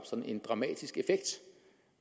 sådan en dramatisk effekt